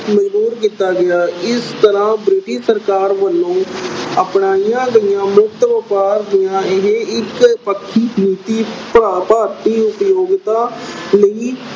ਮਜ਼ਬੂਰ ਕੀਤਾ ਗਿਆ। ਇਸ ਤਰ੍ਹਾਂ British ਸਰਕਾਰ ਵੱਲੋਂ ਅਪਣਾਈਆਂ ਗਈਆਂ ਮੁਕਤ ਵਪਾਰ ਦੀਆਂ ਇਹ ਇੱਕ ਪੱਖੀ ਨੀਤੀ ਭਾਰਤੀ ਅਹ ਉਦਯੋਗਤਾ ਲਈ